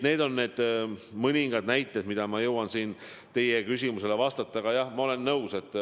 Need on mõningad näited, mis ma jõudsin teie küsimusele vastates tuua.